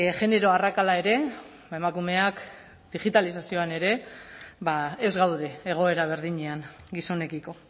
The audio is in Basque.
genero arrakala ere emakumeak digitalizazioan ere ez gaude egoera berdinean gizonekiko